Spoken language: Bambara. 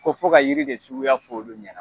Ko fo ka yiri de suguya fɔ olu ɲɛna.